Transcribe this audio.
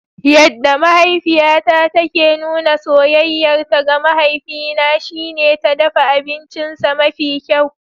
Yadda mahaifiyata take nuna soyayyarta ga mahaifina shine ta dafa abincinsa mafi kyau.